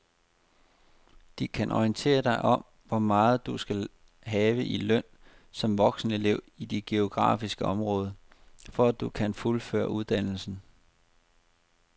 De kan orientere dig om hvor meget du skal have i løn som voksenelev i dit geografiske område, for at du kan fuldføre uddannelsen.